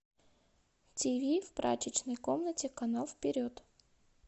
тиви в прачечной комнате канал вперед